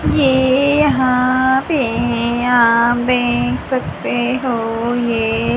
ये यहां पे आप देख सकते हो ये--